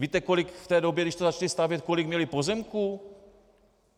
Víte, kolik v té době, když to začali stavět, kolik měli pozemků?